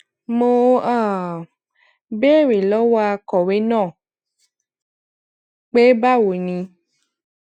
mo um béèrè lówó akòwé náà pé báwo ni